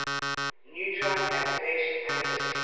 neutron activation analysis